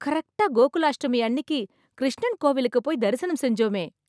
கரெக்ட்டா கோகுலாஷ்டமி அன்னிக்கு கிருஷ்ணன் கோவிலுக்குப் போய் தரிசனம் செஞ்சோமே...